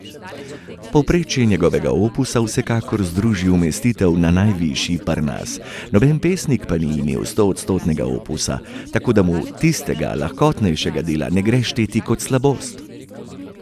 Povprečje njegovega opusa vsekakor zdrži umestitev na najvišji Parnas, noben pesnik pa ni imel stoodstotnega opusa, tako da mu tistega lahkotnejšega dela ne gre šteti kot slabost.